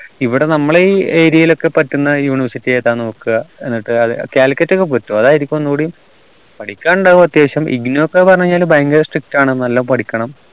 ഇവിടെ നമ്മള് ഈ area യിൽ ഒക്കെ പറ്റുന്ന university ഏതാ ന്ന് നോക്ക എന്നിട് അത് calicut ഒക്കെ പറ്റു അതായിരിക്കും ഒന്നുകൂടി പഠിക്കാനുണ്ടവു അത്യാവശ്യം IGNOU ന്ന് ഒക്കെ പറഞ്ഞു കഴിഞ്ഞാൽ ഭയങ്കര strict ആണ് നല്ലോം പഠിക്കണം